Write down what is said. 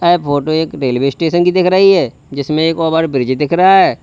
ए photo एक railway station की देख रही है जिसमें एक ओवर ब्रिज दिख रहा है।